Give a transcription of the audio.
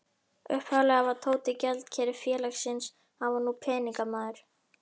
Upphaflega var Tóti gjaldkeri félagsins, hann var nú peningamaður.